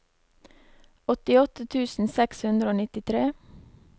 åttiåtte tusen seks hundre og nittitre